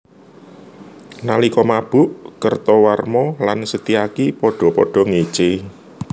Nalika mabuk Kertawarma lan Setyaki padha padha ngécé